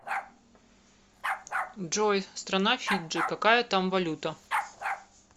джой страна фиджи какая там валюта